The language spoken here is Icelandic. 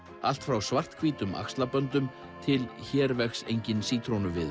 allt frá svarthvítum axlaböndum til hér vex enginn